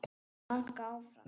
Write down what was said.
Vaka áfram.